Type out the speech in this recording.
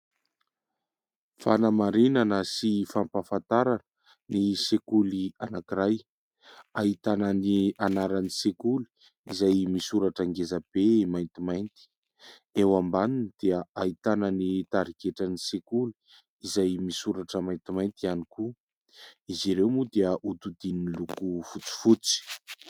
Fanamarinana sy fampahafantarana ny sekoly anankiray, ahitana ny anaran'ny sekoly izay misoratra ngezabe maintimainty ; eo ambaniny dia ahitana ny tarigetran'ny sekoly, izay misoratra maintimainty ihany koa. Izy ireo moa dia hodidinin'ny loko fotsifotsy.